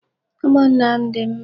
Umụnna m dị mma.